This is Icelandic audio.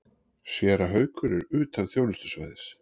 Séra Haukur er utan þjónustusvæðis.